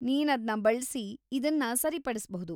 ನೀನ್ ಅದ್ನ ಬಳ್ಸಿ ಇದನ್ನ ಸರಿಪಡಿಸ್ಬಹುದು.